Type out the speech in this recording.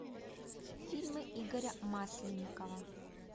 фильмы игоря масленникова